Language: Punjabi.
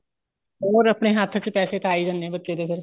ਹੋਰ ਆਪਣੇ ਹੱਥ ਚ ਤਾਂ ਪੈਸੇ ਆ ਹੀ ਜਾਂਦੇ ਏ ਬੱਚੇ ਦੇ ਫੇਰ